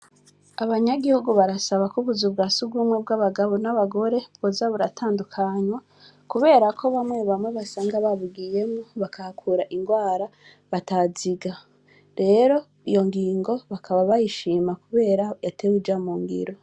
Abanyagihugu barasaba ko ubuza bwa si ugumwe bw'abagabo n'abagore bozaburatandukanywa, kubera ko bamwe bamwe basanga babugiyemo bakahakura ingwara bataziga rero iyo ngingo bakaba bayishima, kubera yatewe ija mu ngiro.